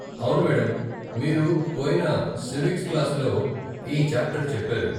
అవును మేడం. మీరు పోయిన సివిక్స్ క్లాస్లో ఈ చాప్టర్ చెప్పారు.